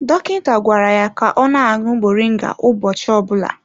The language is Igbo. Dọkịta gwara ya ka ọ na-aṅụ moringa ụbọchị ọbụna.